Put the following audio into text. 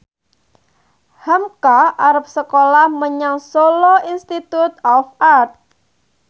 hamka arep sekolah menyang Solo Institute of Art